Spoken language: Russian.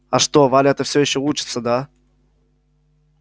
а что валя эта всё ещё учится да